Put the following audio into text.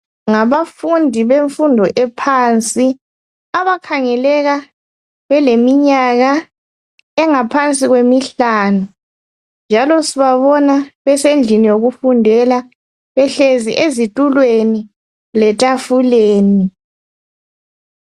Ngabafundi bemfundo ephansi. Abakhangeleka beleminyaka engaphansi kwemihlanu, njalo sibabona besendlini yokufundela behlezi ezitulweni letafuleni.